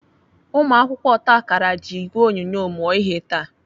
Ụmụakwụkwọ otakara ji ìgwè onyonyo mụọ ihe taa.